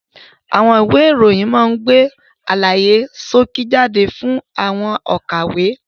Àwọn ìwé ìròyìn máa ń gbé àlàyé ṣókí jáde fún àwọn òkàwé.